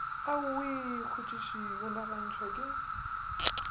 aowi khutšiši o nagantšhwa ke